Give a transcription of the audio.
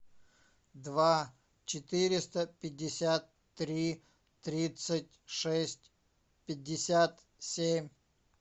два четыреста пятьдесят три тридцать шесть пятьдесят семь